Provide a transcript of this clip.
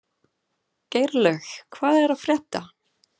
Geirlaug, hvað er að frétta?